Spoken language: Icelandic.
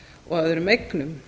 og öðrum eignum